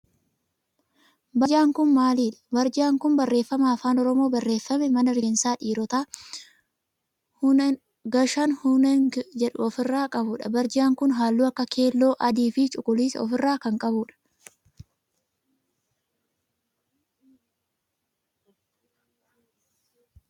Barjaan kun maalidhaa? Barjaan kun barreeffama afaan oromoon barreeffame mana rifeensa dhiirootaa gashaahunegn jedhu of irraa qabudha. Barjaan kun halluu akka keelloo, adii fi cuquliisa of irraa kan qabu dha.